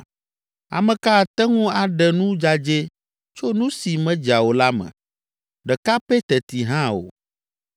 Ame ka ate ŋu aɖe nu dzadzɛ tso nu si medza o la me? Ɖeka pɛ teti hã o!